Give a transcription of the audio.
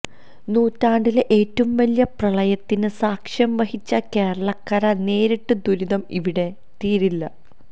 നൂറ്റാണ്ടിലെ ഏറ്റവും വലിയ പ്രളയത്തിന് സാക്ഷ്യം വഹിച്ച കേരളക്കര നേരിട്ട ദുരിതം ഇവിടെ തീരില്ല